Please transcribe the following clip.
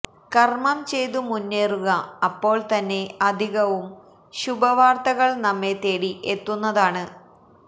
കർമ്മം ചെയ്തു മുന്നേറുക അപ്പോൾ തന്നെ അധികവും ശുഭവാർത്തകൾ നമ്മെ തേടി എത്തുന്നതാണ്